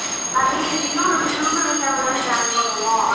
அதையும் இதையும் நம்ம சுருக்கு வைக்காமதான join பண்ணுவோம்